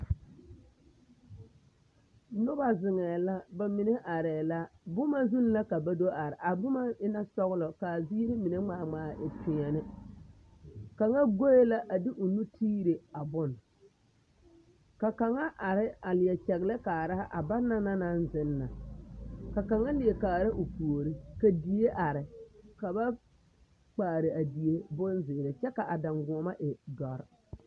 Noba zeŋɛɛ la bamine arɛɛ la boma zuŋ la ka ba do are, a boma e la sɔgelɔ k'a ziiri ŋmaa ŋmaa e peɛni, kaŋa goe la a de o nu tiire a bone ka kaŋa are a leɛ kyɛgelɛ kaara a banaŋ naŋ zeŋ na, ka kaŋa leɛ kaara o puori, ka die are ka ba kpaare a die bonzeere kyɛ ka a daŋgoɔma e dɔre.